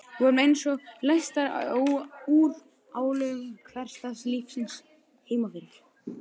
Við vorum einsog leystar úr álögum hversdagslífsins heimafyrir